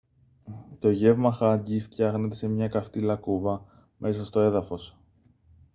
to γεύμα hangi φτιάχνετε σε μια καυτή λακκούβα μέσα στο έδαφος